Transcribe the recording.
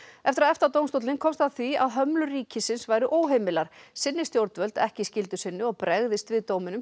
eftir að EFTA dómstóllinn komst að því að hömlur ríkisins væru óheimilar sinni stjórnvöld ekki skyldu sinni og bregðist við dóminum